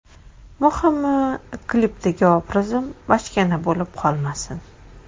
Muhimi, klipdagi obrazim bachkana bo‘lib qolmasin.